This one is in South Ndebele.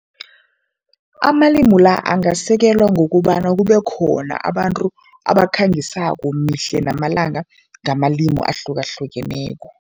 Amalimu la, angasekelwa ngokobana kube khona abantu abakhangisako mihle namalanga ngamalimu ahlukahlukeneko.